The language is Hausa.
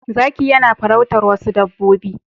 Zakiyanafarautar wasu dabbobbi